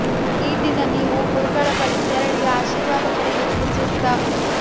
ಈ ದಿನ ನೀವು ಗುರುಗಳ ಬಳಿ ತೆರಳಿ ಆಶೀರ್ವಾದ ಪಡೆಯುವುದು ಸೂಕ್ತ